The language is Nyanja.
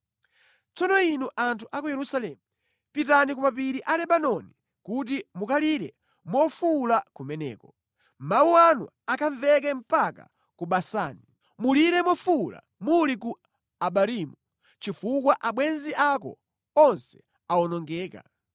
“Tsono inu anthu a ku Yerusalemu, pitani ku mapiri a Lebanoni kuti mukalire mofuwula kumeneko, mawu anu akamveke mpaka ku Basani. Mulire mofuwula muli ku Abarimu chifukwa abwenzi ako onse awonongeka.